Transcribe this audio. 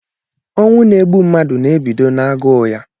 Ọnwụ na egbụ mmadụ na-ebido n'aguu ya.